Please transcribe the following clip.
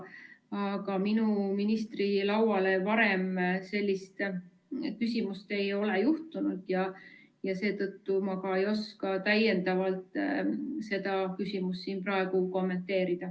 Aga minu lauale ei ole varem sellist küsimust sattunud ja seetõttu ma ka ei oska täiendavalt seda küsimust siin praegu kommenteerida.